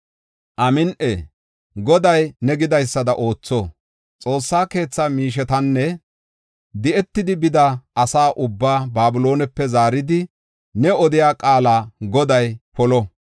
“Amin7i! Goday ne gidaysada ootho. Xoossa keetha miishetanne di7etidi bida asa ubbaa Babiloonepe zaaridi, ne odiya qaala Goday polo!